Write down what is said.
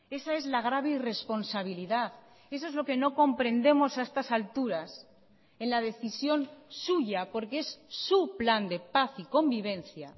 esa es la grave irresponsabilidad eso es lo que no comprendemos a estas alturas en la decisión suya porque es su plan de paz y convivencia